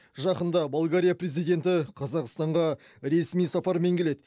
жақында болгария президенті қазақстанға ресми сапармен келеді